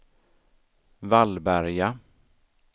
Vallberga